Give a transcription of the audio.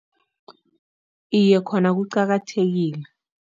Iye, khona kuqakathekile.